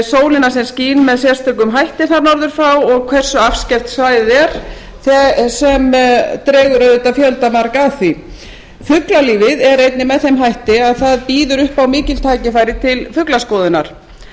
sólina sem skín með sérstökum hætti þar norður frá og hversu afskekkt svæðið er sem dregur auðvitað fjöldamarga að því fuglalífið er einnig með þeim hætti að það býður upp á mikil tækifæri til fuglaskoðunar